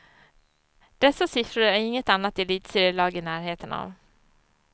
Dessa siffror är inget annat elitserielag i närheten av.